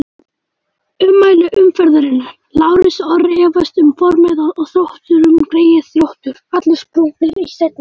Ummæli umferðarinnar: Lárus Orri efast um formið á Þrótturum Greyið Þróttur, allir sprungnir í seinni.